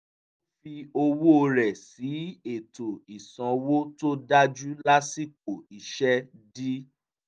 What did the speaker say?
ó fi owó rẹ̀ sí ètò ìsanwó tó dájú lásìkò iṣẹ́ dí